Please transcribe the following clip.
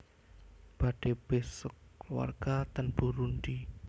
Badhe besuk keluarga ten Burundi